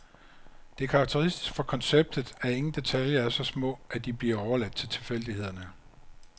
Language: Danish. Det er karakteristisk for konceptet, at ingen detaljer er så små, at de bliver overladt til tilfældighederne.